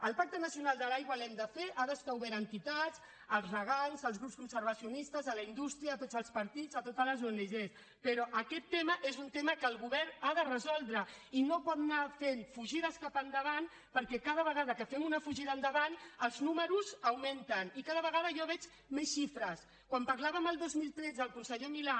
el pacte nacional de l’aigua l’hem de fer ha d’estar obert a entitats als regants als grups conservacionistes a la indústria a tots els partits a totes les ong però aquest tema és un tema que el govern ha de resoldre i no pot anar fent fugides cap endavant perquè cada vegada que fem una fugida endavant els números augmenten i cada vegada jo veig més xifres quan parlàvem el dos mil tretze el conseller milà